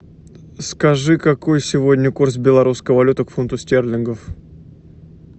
скажи какой сегодня курс белорусской валюты к фунту стерлингов